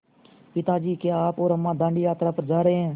पिता जी क्या आप और अम्मा दाँडी यात्रा पर जा रहे हैं